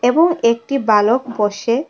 ও একটি বালক বসে--